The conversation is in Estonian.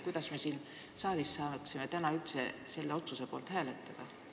Kuidas me üldse saaksime täna siin saalis selle otsuse poolt hääletada?